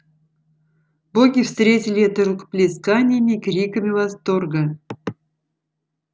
боги встретили это рукоплесканиями криками восторга